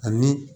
Ani